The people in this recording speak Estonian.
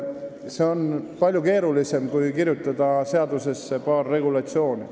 See on palju keerulisem kui kirjutada seadusesse paar regulatsiooni.